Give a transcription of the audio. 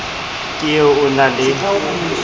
ke e o na le